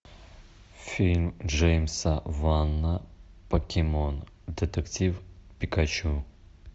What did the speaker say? фильм джеймса вана покемон детектив пикачу